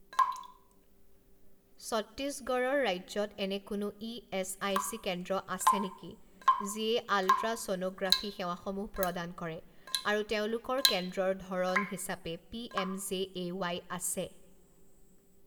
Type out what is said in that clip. ছত্তিশগডঢ় ৰাজ্যত এনে কোনো ই এচ আই চি কেন্দ্ৰ আছে নেকি যিয়ে আলট্ৰাছ'ন'গ্ৰাফি সেৱাসমূহ প্ৰদান কৰে আৰু তেওঁলোকৰ কেন্দ্ৰৰ ধৰণ হিচাপে P M J A Y আছে?